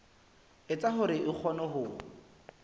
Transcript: etsa hore a kgone ho